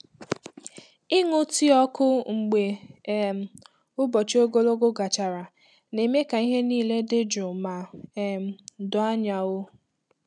Ịṅụ tii ọkụ mgbe um ụbọchị ogologo gachara na-eme ka ihe niile dị jụụ ma um doo anya. um